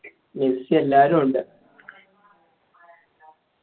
Messi എല്ലാരുമുണ്ട്